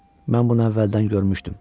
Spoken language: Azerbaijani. Mən bunu əvvəldən görmüşdüm.